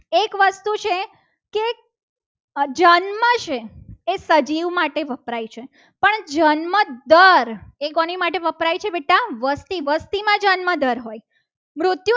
જન્મ છે એ સજીવ માટે વપરાય છે. પણ જન્મદર એ કોની માટે વપરાય છે. બેટા વસ્તી વસ્તીમાં જન્મદર હોય.